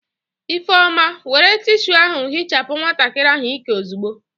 Ifeoma, were tishu ahụ hichapụ nwatakịrị ahụ ịkẹ ozugbo!